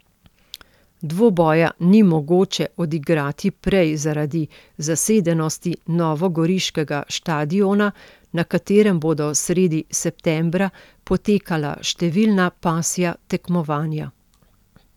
Dvoboja ni mogoče odigrati prej zaradi zasedenosti novogoriškega štadiona, na katerem bodo sredi septembra potekala številna pasja tekmovanja.